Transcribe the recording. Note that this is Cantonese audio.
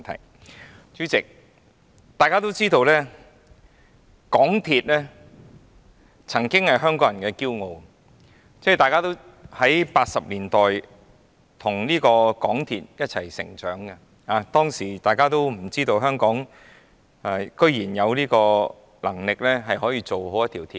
代理主席，大家都知道，港鐵曾經是香港人的驕傲，大家在1980年代與港鐵一起成長，當時我們都想象不到香港居然有能力建造一條地下鐵路。